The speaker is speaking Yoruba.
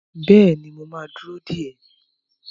Bẹ́ẹ̀ni, mo ma dúró dè ẹ́